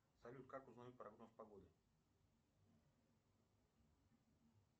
салют как узнать прогноз погоды